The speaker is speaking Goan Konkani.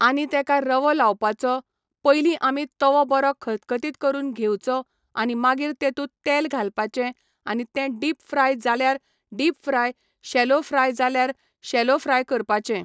आनी तेका रवो लावपाचो पयलीं आमी तोवो बरो खतखतीत करून घेवचो आनी मागीर तेतूंत तेल घालपाचें आनी तें डीप फ्राय जाल्यार डीप फ्राय शॅलो फ्राय जाल्यार शॅलो फ्राय करपाचें